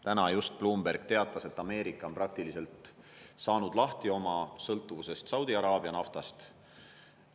Täna just Bloomberg teatas, et Ameerika on praktiliselt saanud lahti oma sõltuvusest Saudi Araabia naftast.